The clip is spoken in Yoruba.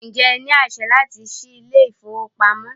Ǹjẹ́ ẹ ní àṣẹ láti ṣí ilé ìfowópamọ́?